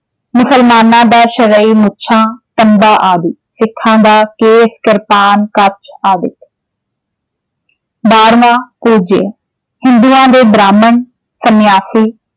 ਮੁਸਲਮਾਨਾਂ ਦਾ ਮੁੱਛਾਂ ਆਦਿ। ਸਿੱਖਾਂ ਦਾ ਕੇਸ, ਕਿਰਪਾਨ, ਕੱਛ ਆਦਿਕ, ਬਾਰ੍ਹਵਾਂ ਹਿੰਦੂਆਂ ਦੇ ਬ੍ਰਾਹਮਣ, ਸੰਨਿਆਸੀ